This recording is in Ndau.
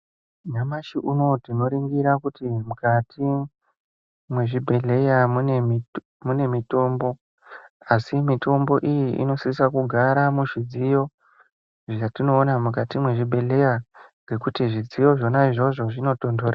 Nyamashi unowu tinoringira kuti mukati mwezvibhedhlera mune mitombo, asi mitombo iyi inosise kugara muzvidziyo zvetinoona mukati mwezvibhedhlera, ngekuti zvidziyo zvona izvozvo zvinotonhorera.